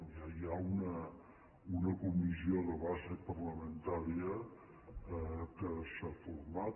ja hi ha una comissió de base parlamentària que s’ha format